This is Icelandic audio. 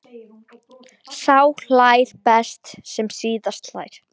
Sá hlær best sem síðast hlær!